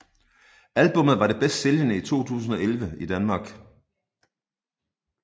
Albummet var det bedst sælgende i 2011 i Danmark